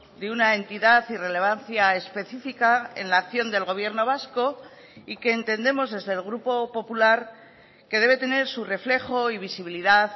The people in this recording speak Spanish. de una entidad y relevancia específica en la acción del gobierno vasco y que entendemos desde el grupo popular que debe tener su reflejo y visibilidad